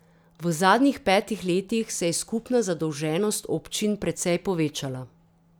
V zadnjih petih letih se je skupna zadolženost občin precej povečala.